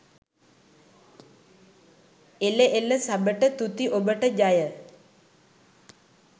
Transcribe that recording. එල එල සබට තුති ඔබට ජය